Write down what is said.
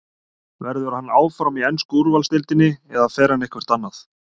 Verður hann áfram í ensku úrvalsdeildinni eða fer hann eitthvert annað?